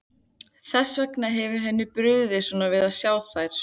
Þess vegna hefur henni brugðið svona við að sjá þær.